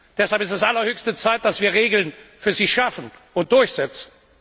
Deshalb ist es allerhöchste Zeit, dass wir Regeln für sie schaffen und durchsetzen.